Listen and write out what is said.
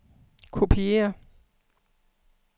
kopiér